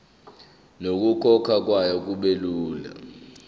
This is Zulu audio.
nokukhokhwa kwayo kubelula